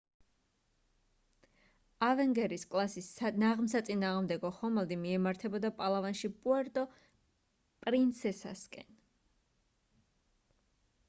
avenger -ის კლასის ნაღმსაწინააღმდეგო ხომალდი მიემართებოდა პალავანში პუერტო პრინსესასკენ